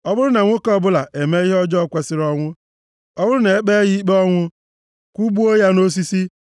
Ọ bụrụ na nwoke ọbụla emee ihe ọjọọ kwesiri ọnwụ, ọ bụrụ na e kpee ya ikpe ọnwụ, kwụgbuo ya nʼosisi,